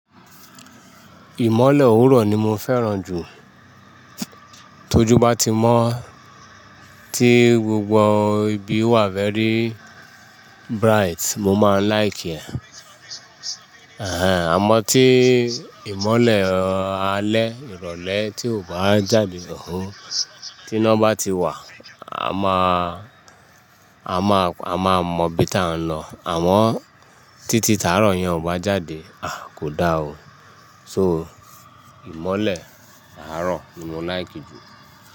Ìmọ́lẹ̀ òwúrọ̀ ni mo fẹ́ràn jù. Tójú bá ti mọ́ tí gbogbo ibi wà fẹ́ri bright, mo máa like ẹ̀. Àmọ́ tí ìmọ́lẹ̀ alẹ́ ìrọ̀lẹ́ tí ò bá jáde, òhún. Tí iná bá ti wà, a máa, a máa mọ ibi tí à ń lọ. Àmọ́ títí taàrọ̀ yẹn ò bá jáde, a, kò da o. So, ìmọ́lẹ̀ àárọ̀ ni mo like jù.